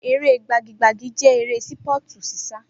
Eré gbagi gbagi jẹ́ eré Sípọ̀tù ṣíṣá